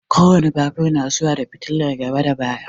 Ko wane babur na zuwa da fitilar gaba da baya.